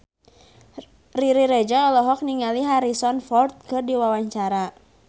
Riri Reza olohok ningali Harrison Ford keur diwawancara